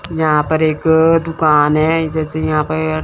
यहां पर एक दुकान है जैसे यहां पे--